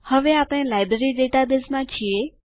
હવે આપણે લાઈબ્રેરી ડેટાબેઝમાં છીએ